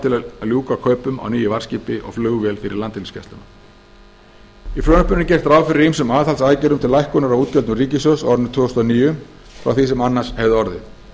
til að ljúka kaupum á nýju varðskipi og flugvél fyrir landhelgisgæsluna í frumvarpinu er gert ráð fyrir ýmsum aðhaldsaðgerðum til lækkunar á útgjöldum ríkissjóðs á árinu tvö þúsund og níu frá því sem annars hefði orðið